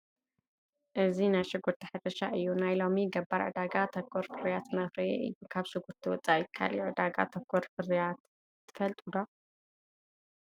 እዚ ናይ ሽጉርቲ ሕርሻ እዩ፡፡ ናይ ሎሚ ገባር ዕዳጋ ተኮር ፍርያት እናፍረየ እዩ፡፡ ካብ ሽጉርቲ ወፃኢ ካልእ ዕዳጋ ተኮር ፍርያት ትፈልጡ ዶ?